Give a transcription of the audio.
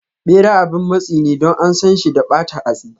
Bera abin matsi ne Don ansan shi da bata hatsi.